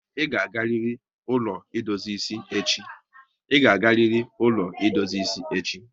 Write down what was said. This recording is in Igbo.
I ga agariri ụlọ edozi isi echi!